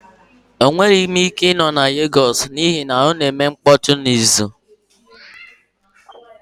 Enweghị m ike ịnọ na Legos n'ihi na ọ na-eme mkpọtụ na uzu.